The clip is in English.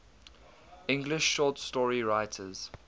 english short story writers